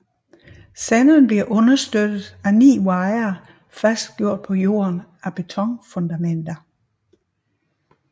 Senderen bliver understøttet af 9 wirer fastgjort på jorden af betonfundamenter